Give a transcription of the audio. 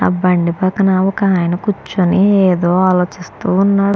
ఆ బండి పక్కనే ఒక ఆయన కూర్చొని ఆలోచిస్తూ ఉన్నాడు.